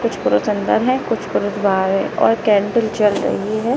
कुछ पुरुष अंदर हैं और कुछ पुरुष बाहर हैं और कैंडल जल रही है।